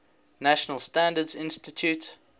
national standards institute